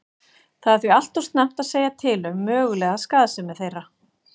Það er því allt of snemmt að segja til um mögulega skaðsemi þeirra.